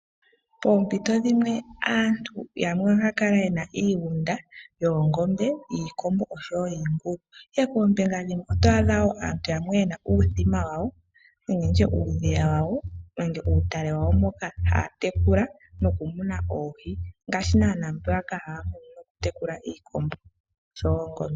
Poompito dhimwe aantu yamwe ohaya kala yena iigunda yoongombe, yiikombo, osho wo yiingulu, ihe poombinga dhimwe oto adha aantu yena uuthima wawo, nenge nditye uudhiya wawo nenge uutale wawo moka haya tekula noku muna oohi. Ngaashi naana mbeyaka haya munu noku tekula iikombo osho wo oongombe.